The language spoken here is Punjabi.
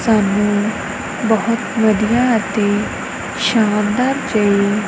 ਸਾਹਮਣੇ ਬੋਹੁਤ ਵਧੀਆ ਅਤੇ ਸ਼ਾਨਦਾਰ ਜੇਹੀ--